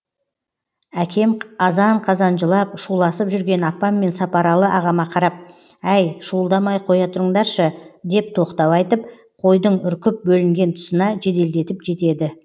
әкем азан қазан жылап шуласып жүрген апам мен сапаралы ағама қарап әй шуылдамай қоя тұрыңдаршы деп тоқтау айтып қойдың үркіп бөлінген тұсына жеделдетіп жетеді